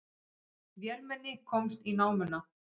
Vélmenni komst í námuna